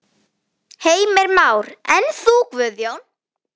Heimir Már: En þú Guðjón?